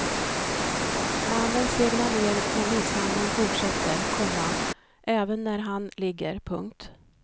Mannen segnar ner men misshandeln fortsätter, komma även när han ligger. punkt